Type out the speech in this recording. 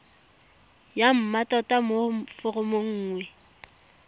ya mmatota mo foromong nngwe